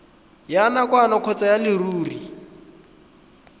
ya nakwana kgotsa ya leruri